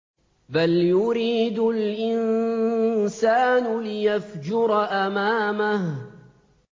بَلْ يُرِيدُ الْإِنسَانُ لِيَفْجُرَ أَمَامَهُ